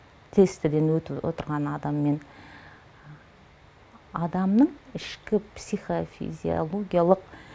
тестіден өту отырған адаммен адамның ішкі психофизиологиялық